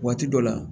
Waati dɔ la